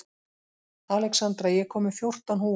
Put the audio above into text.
Alexandra, ég kom með fjórtán húfur!